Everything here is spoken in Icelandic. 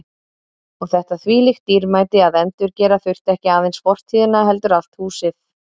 Og þetta þvílíkt dýrmæti að endurgera þurfti ekki aðeins fortíðina heldur allt húsið.